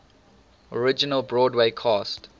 original broadway cast